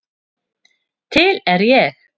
Til er ég.